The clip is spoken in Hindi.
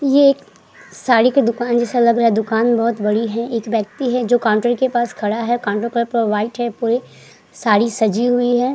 ये एक साड़ी की दुकान जैसा लग रहा है। दुकान बहोत बड़ी है। एक व्यक्ति है जो काउन्टर के पास खड़ा है। काउन्टर व्हाइट है। पूरी साड़ी सजी हुई है।